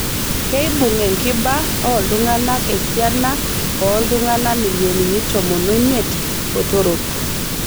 Keibung' enkiba ooltungana esiana ooltung'ana milionini tomon omiet botorok.